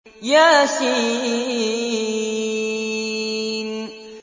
يس